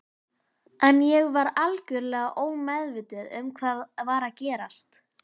En ég var algjörlega ómeðvituð um hvað var að gerast.